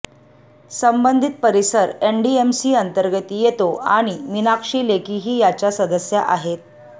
संबंधित परिसर एनडीएमसी अंतर्गत येतो आणि मीनाक्षी लेखीही याच्या सदस्या आहेत